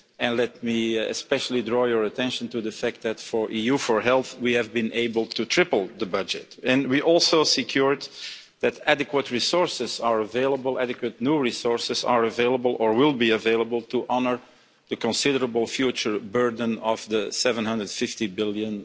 And let me especially draw your attention to the fact that for EU4Health, we have been able to triple the budget, and we also secured that adequate new resources are available, or will be available, to honour the considerable future burden of the EUR 750 billion